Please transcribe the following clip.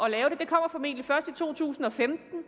at lave det kommer formentlig først i to tusind og femten